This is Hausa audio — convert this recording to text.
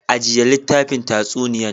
Ajiya litafin tatsuniyan.